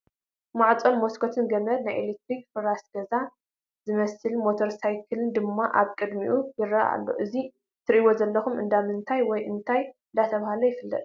ማዕፆ መስኮትን ገመድ ናይ ኤለትርክ ፍራስ ገዛ እመስልን ሞተሳክልን ሳይክልን ድማ ኣብ ቅድይምኡ ይርኣዩ ኣለው ።እዙ እትርእይዎ ዘለኩም እንዳምንታይ ወይ እንታይ እንየባህለ ይፍለጥ።